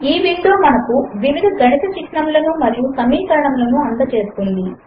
ఈ విండో మనకు వివిధ గణిత చిహ్నములను మరియు సమీకరణములను అందచేస్తుంది